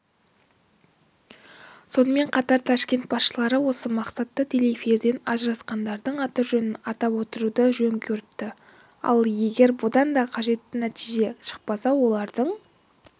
сонымен қатар ташкент басшылар осы мақсатта телеэфирден ажырасқандардың аты-жөнін атап отыруды жөн көріпті ал егер бұдан да қажетті нәтиже шықпаса олардың